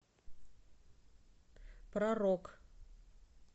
про рок